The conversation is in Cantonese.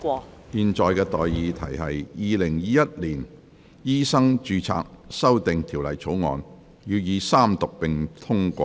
我現在向各位提出的待議議題是：《2021年醫生註冊條例草案》予以三讀並通過。